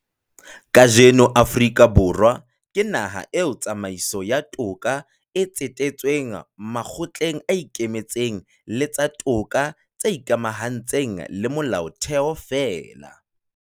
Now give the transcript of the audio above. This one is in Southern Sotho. Kajeno Afrika Borwa ke naha eo tsamaiso ya toka e tsetetsweng makgotleng a ikemetseng le tsa toka tse ikamahantshang le Molaotheo feela.